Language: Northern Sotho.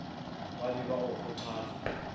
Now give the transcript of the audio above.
ba be ba go kgothatsa